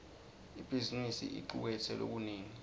ibhizimisi icuketse lokunengi